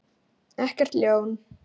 Ekkert ljón.